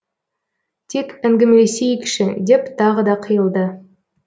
тек әңгімелесейікші деп тағы да қиылды